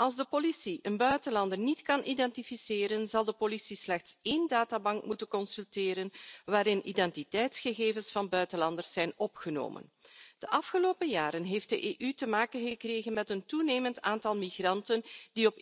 Als de politie een buitenlander niet kan identificeren, zal de politie slechts één databank moeten consulteren waarin identiteitsgegevens van buitenlanders zijn opgenomen. De afgelopen jaren heeft de EU te maken gekregen met een toenemend aantal migranten die op